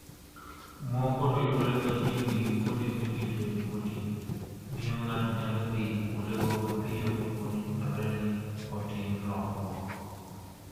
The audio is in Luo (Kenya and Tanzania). Moko to yudore machiegni gi kuonde miritoe jomoti, miyo ng'ato nyalo dhi kuondego mapiyo kapo ni dwarore ni otim lokruok.